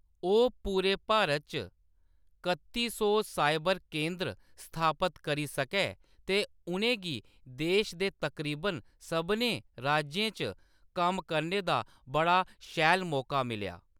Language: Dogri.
ओह्‌‌ पूरे भारत च कत्ती सौ साइबर केंद्र स्थापत करी सकै ते उʼनें गी देश दे तकरीबन सभनें राज्यें च कम्म करने दा बड़ा शैल मौका मिलेआ।